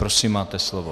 Prosím, máte slovo.